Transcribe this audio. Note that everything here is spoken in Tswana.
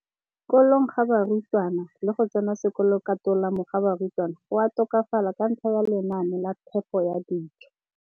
Kolong ga barutwana le go tsena sekolo ka tolamo ga barutwana go a tokafala ka ntlha ya lenaane la phepo ya dijo.